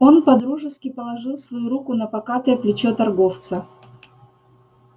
он по-дружески положил свою руку на покатое плечо торговца